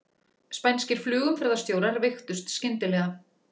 Spænskir flugumferðarstjórar veiktust skyndilega